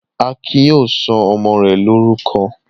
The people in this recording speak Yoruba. Akin yóò sọ ọmọ rẹ̀ lórúkọ.